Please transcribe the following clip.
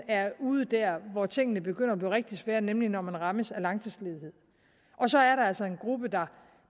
er ude der hvor tingene begynder at blive rigtig svære nemlig når man rammes af langtidsledighed og så er der altså en gruppe der